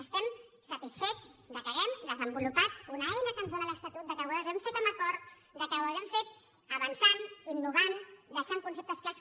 estem satisfets que hàgim desenvolupat una eina que ens dóna l’estatut que ho hàgim fet amb acord que ho hàgim fent avançant innovant deixant conceptes clars